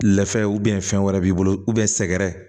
Lɛfɛ fɛn wɛrɛ b'i bolo sɛgɛrɛ